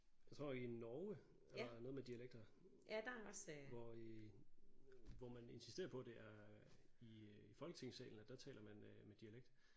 Jeg tror i Norge og noget med dialekter hvor i hvor man insisterer på det er i folketingssalen at der taler man øh med dialekt